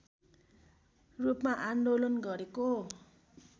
रूपमा आन्दोलन गरेको